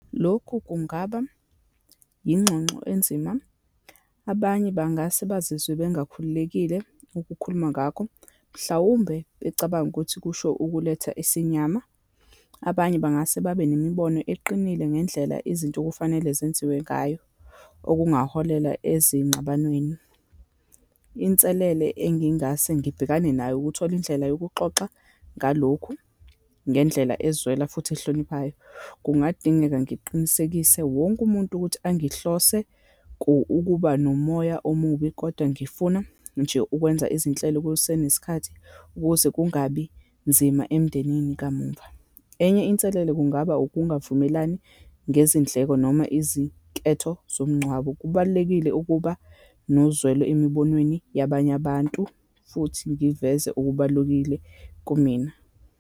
Lokhu kungaba yingxongxo enzima, abanye bangase bazizwe bengakhululekile ukukhuluma ngakho, mhlawumbe becabanga ukuthi kusho ukuletha isinyama. Abanye bangase babe nemibono eqinile ngendlela izinto okufanele zenziwe ngayo, okungaholela ezingxabanweni. Inselele engingase ngibhekane nayo, ukuthola indlela yokuxoxa ngalokhu ngendlela ezwela futhi ehloniphayo. Kungadingeka ngiqinisekise wonke umuntu ukuthi angihlose ukuba nomoya omubi, kodwa ngifuna nje ukwenza izinhlelo kusenesikhathi, ukuze kungabi nzima emndenini kamumva. Enye inselele, kungaba ukungavumelani ngezindleko, noma izinketho zomngcwabo. Kubalulekile ukuba nozwelo emibonweni yabanye abantu futhi ngiveze okubalukile kumina.